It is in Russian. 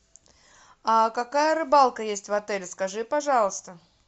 а какая рыбалка есть в отеле скажи пожалуйста